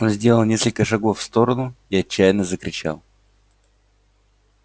он сделал несколько шагов в сторону и отчаянно закричал